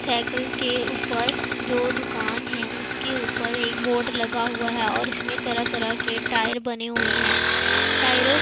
cycle के ऊपर जो दुकान है उसके ऊपर एक बोर्ड लगा हुआ है और उसमें तरह तरह के टायर बने हुए हैं टायरों --